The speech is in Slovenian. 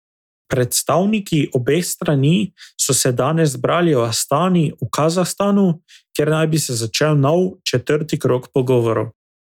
Predstavniki obeh strani so se danes zbrali v Astani v Kazahstanu, kjer naj bi se začel nov, četrti krog pogovorov.